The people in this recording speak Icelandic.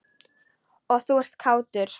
Og þú ert kátur.